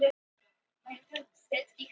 Orðin gleðja hana samt greinilega.